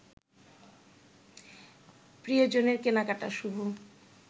প্রিয়জনের কেনাকাটা শুভ